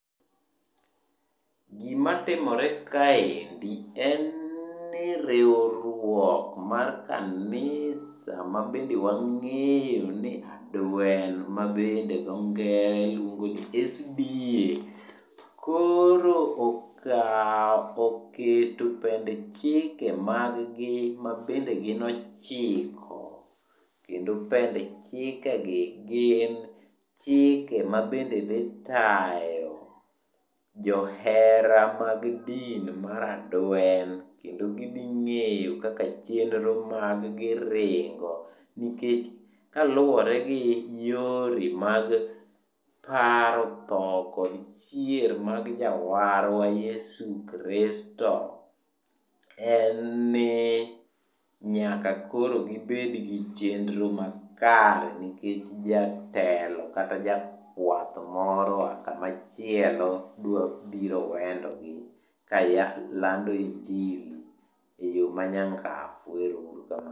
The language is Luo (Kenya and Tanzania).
Gimatimore kaendi en ni riwruok mar kanisa mabende wang'eyo ni Adwen mabende dho ngere luongo ni SDA. Koro oketo pend chike mag gi ma bende gin ochiko. Kendo pend chikegi gin chike mabende dhi tayo jo hera mag din mar Adwen. Kendo gidhi ng'eyo kaka chendro mag gi ringo. Nikech kaluwore gi yore mag paro tho kod chier mag jawarwa Yesu Kristo, en ni nyaka koro gibedgi chendro makare. Nikech jatelo kata jakwath moro oa kamachielo dwabiro wendogi kalando injili e yo manyangafu. Ero uru kamano.